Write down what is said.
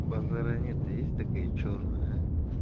базара нет есть такая чёрная а